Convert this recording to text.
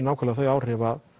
nákvæmlega þau áhrif að